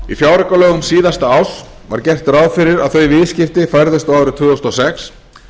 í fjáraukalögum síðasta árs var gert ráð fyrir að þau viðskipti færðust á árið tvö þúsund og sex